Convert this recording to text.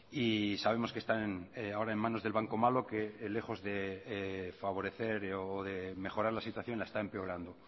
y sabemos que están ahora en manos del banco malo que lejos de favorecer o de mejorar la situación la está empeorando